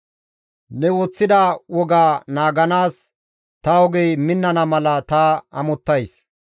Ne woththida woga naaganaas ta ogey minnana mala ta amottays.